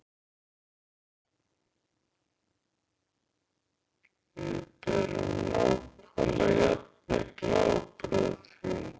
Við berum nákvæmlega jafn mikla ábyrgð á því.